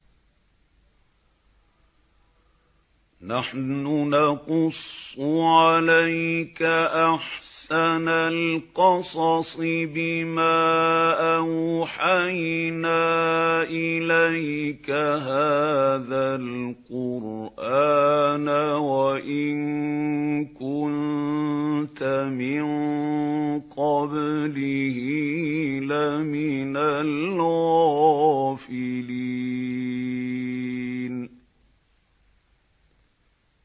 نَحْنُ نَقُصُّ عَلَيْكَ أَحْسَنَ الْقَصَصِ بِمَا أَوْحَيْنَا إِلَيْكَ هَٰذَا الْقُرْآنَ وَإِن كُنتَ مِن قَبْلِهِ لَمِنَ الْغَافِلِينَ